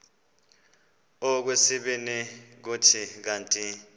okwesibini kuthi kanti